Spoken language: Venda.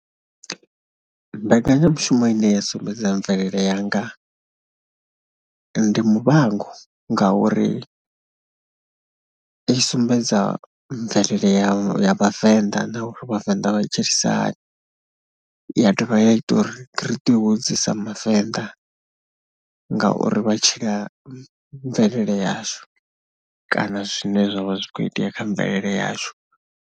Mbekanyamushumo ine ya sumbedza mvelele yanga ndi Muvhango ngauri i sumbedza mvelele ya Vhavenḓa na u ri Vhavenḓa vha tshilisa hani, ya dovha ya ita uri ri ḓihudze sa mavenḓa ngauri vha tshila mvelele yashu kana zwine zwa vha zwi khou itea kha mvelele yashu.